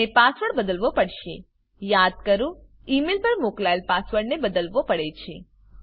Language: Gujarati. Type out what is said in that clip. મને પાસવર્ડ બદલવો પડશે યાદ કરો ઈ મેઈલ પર મોકલાયેલ પાસવર્ડને બદલવો પડે છે